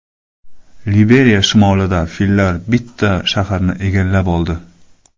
Liberiya shimolida fillar bitta shaharni egallab oldi.